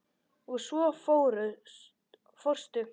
Og svo fórstu.